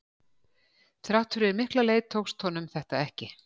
Þrátt fyrir mikla leit tókst honum þetta ekki.